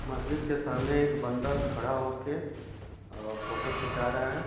मस्जिद के सामने एक बंदा खड़ा होके अ फोटो खीचा रहा है।